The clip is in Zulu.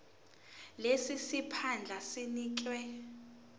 lesi siphandla sinikezwa